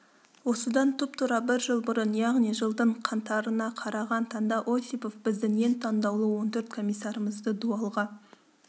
осыдан тұп-тура бір жыл бұрын яғни жылдың қаңтарына қараған таңда осипов біздің ең таңдаулы он төрт комиссарымызды дуалға